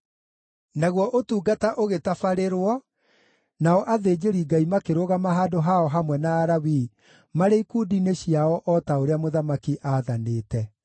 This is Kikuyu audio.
Naguo ũtungata ũgĩtabarĩrio, nao athĩnjĩri-Ngai makĩrũgama handũ hao hamwe na Alawii marĩ ikundi-inĩ ciao o ta ũrĩa mũthamaki aathanĩte.